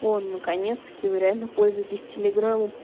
о наконец-таки вы реально пользуетесь телеграмом